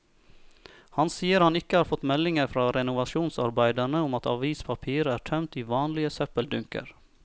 Han sier han ikke har fått meldinger fra renovasjonsarbeiderne om at avispapir er tømt i vanlige søppeldunker.